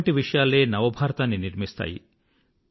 ఇటువంటి విషయాలే నవ భారతాన్ని నిర్మిస్తాయి